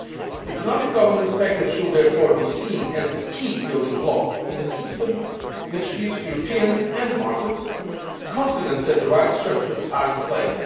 The economic governance package should therefore be seen as the key building block in a system which gives Europeans and the markets confidence that the right structures are in place.